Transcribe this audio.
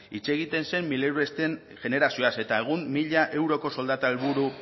hitz egiten zen mileuristen generazioaz eta egun mila euroko soldata helburu